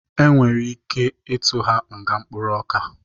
E nwere ike ịtụ ha nga mkpụrụ ọka.